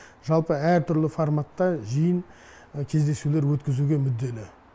жалпы әртүрлі форматта жиын кездесулер өткізуге мүдделі